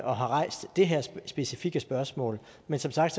og har rejst det her specifikke spørgsmål men som sagt